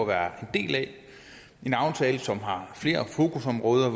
at være en del af en aftale som har flere fokusområder